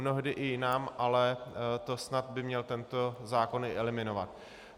Mnohdy i jinam, ale to snad by měl tento zákon i eliminovat.